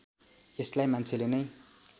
यसलाई मान्छेले नै